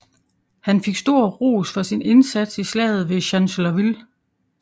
Han fik stor ros for sin indsats i Slaget ved Chancellorsville